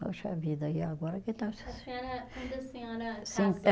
Poxa vida, e agora que. A senhora, quando a senhora